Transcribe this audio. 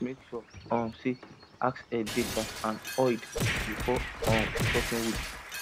make sure um say axe head dey sharp and oiled before um chopping wood